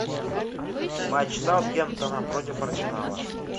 матч саутгемптона против арсенала